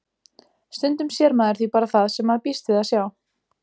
Stundum sér maður því bara það sem maður býst við að sjá.